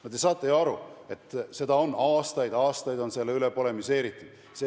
No te saate ju aru, et selle üle on aastaid-aastaid polemiseeritud.